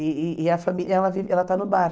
E e a família, ela vive ela está no bar.